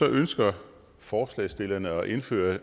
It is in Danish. ønsker forslagsstillerne at indføre